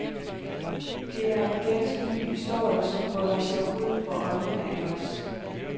Det er en ganske ny historie, som folder sig ud for øjnene af os.